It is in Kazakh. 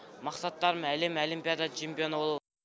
мақсаттарым әлем олимпиада чемпионы болу